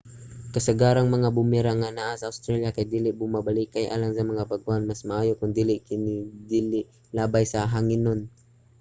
kasagarang mga boomerang nga anaa sa australia kay dili bumabalikay. alang sa mga bag-ohan mas maayo kon dili kini ilabay sa hanginon